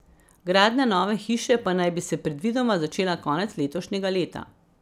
Gradnja nove hiše pa naj bi se predvidoma začela konec letošnjega leta.